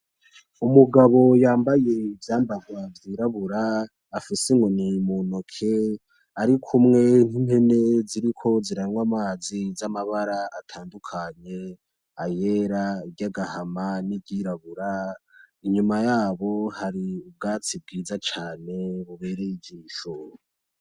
Umugabo yambaye ivyambarwa vyirabura afise inyoni mu ntoke ari kumwe n'impene ziriko ziranywa amazi z'amabara atandukanye, ayera, iryagahama, n'iryirabura. Inyuma yabo hari ubwatsi bwiza caane bubereye ijisho.